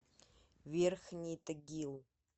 верхний тагил